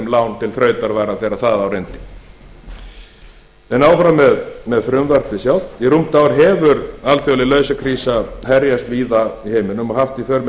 lán til þrautavara þegar þar á reyndi en áfram með frumvarpið sjálft í rúmt ár hefur alþjóðleg lausafjárkrísa herjað víðast hvar í heiminum og haft í för með